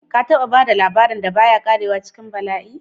Ka taba ba da labarin da ba ya ƙarewa cikin bala'i?